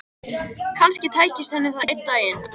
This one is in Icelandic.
Kannski tækist henni það einn daginn.